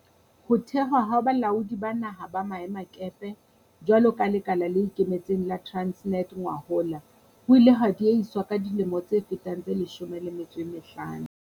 Ho thehwa ha Balaodi ba Naha ba Maemakepe jwalo ka lekala le ikemetseng la Transnet ngwahola ho ile ha diehiswa ka dilemo tse fetang tse 15.